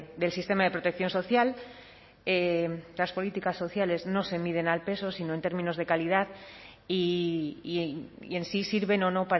del sistema de protección social las políticas sociales no se miden al peso sino en términos de calidad y en si sirven o no